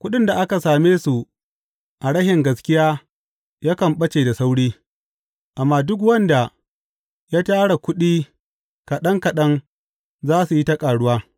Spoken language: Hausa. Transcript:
Kuɗin da aka same su a rashin gaskiya yakan ɓace da sauri, amma duk wanda ya tara kuɗi kaɗan kaɗan za su yi ta ƙaruwa.